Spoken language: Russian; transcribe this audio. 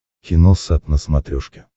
киносат на смотрешке